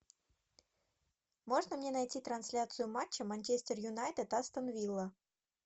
можно мне найти трансляцию матча манчестер юнайтед астон вилла